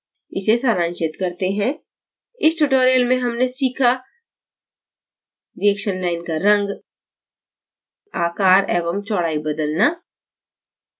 इसे सारांशित करते हैं इस tutorial में हमने सीखा : reaction line का in आकार एवं चौड़ाई बदलना